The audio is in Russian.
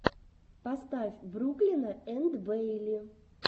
поставь бруклина энд бэйли